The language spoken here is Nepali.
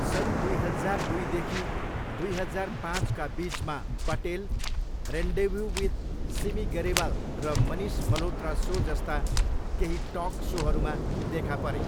सन् दुई हजार दुईदेखि दुई हजार पाँचका बिचमा पटेल रेन्डेभू विथ सिमी गैरेवाल र मनिष मल्होत्रा सो जस्ता केही टक सोहरूमा देखा परे।